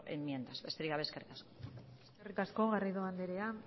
enmiendas besterik gabe eskerrik asko eskerrik asko garrido anderea